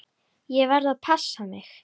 Ég verð að passa mig.